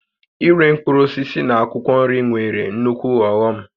Íré mkpụrụ osisi na akwụkwọ nri nwere nukwu ọghọm